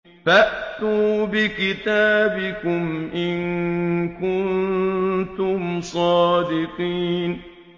فَأْتُوا بِكِتَابِكُمْ إِن كُنتُمْ صَادِقِينَ